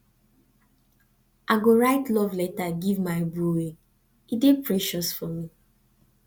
i go write love letter give my booe dey precious for me